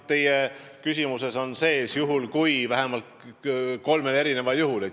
Teie küsimuses kordus "juhul kui" vähemalt kolmel korral.